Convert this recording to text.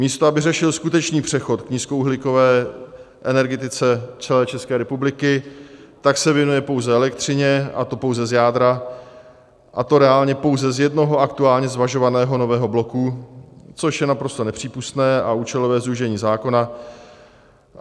Místo aby řešil skutečný přechod k nízkouhlíkové energetice celé České republiky, tak se věnuje pouze elektřině, a to pouze z jádra, a to reálně pouze z jednoho aktuálně zvažovaného nového bloku, což je naprosto nepřípustné a účelové zúžení zákona.